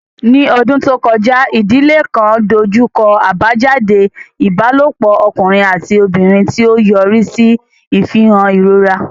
Ní ọdún tó kọjá, ìdílé kan dojú kọ àbájáde ìbálòpọ̀ ọkùnrin àti obìnrin, tí ó yọrí sí ìfihàn ìrora.